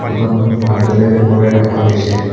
দোকানখন ভালদৰে পোহৰাই ৰখা হৈছে।